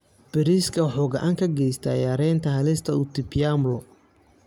Bariiska wuxuu gacan ka geystaa yareynta halista utapiamlo.